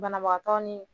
Banabagatɔ ni